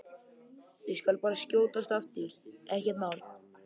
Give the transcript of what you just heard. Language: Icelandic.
Ég skal bara skjótast aftur, ekkert mál!